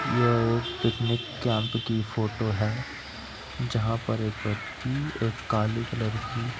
यह एक picnic camp की फोटो है जहाँ पर एक व्यक्ति एक काले कलर की --